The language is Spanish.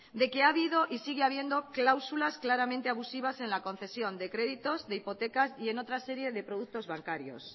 de que ha habido y sigue habiendo cláusulas claramente abusivas en la concesión de créditos de hipotecas y otra serie de productos bancarios